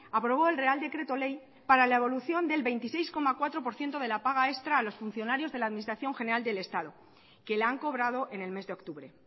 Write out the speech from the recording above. aprobó el real decreto ley para la devolución del veintiséis coma cuatro por ciento de la paga extra a los funcionarios de la administración general del estado que la han cobrado en el mes de octubre